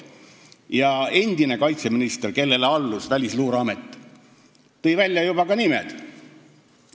Ja endine kaitseminister, kellele allus Välisluureamet, tõi juba välja ka nimed.